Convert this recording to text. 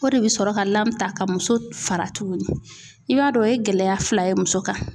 O de bɛ sɔrɔ ka lamɛn ta ka muso fara tuguni i b'a dɔn o ye gɛlɛya fila ye muso kan.